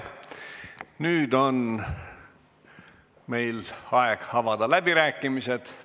Nüüd on meil aeg avada läbirääkimised.